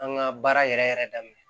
An ka baara yɛrɛ yɛrɛ daminɛ